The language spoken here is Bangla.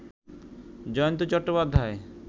জয়ন্ত চট্টোপাধ্যায়